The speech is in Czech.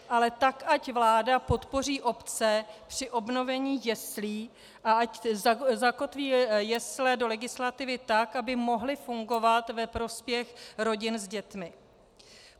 Ale tak ať vláda podpoří obce při obnovení jeslí a ať zakotví jesle do legislativy tak, aby mohly fungovat ve prospěch rodin s dětmi.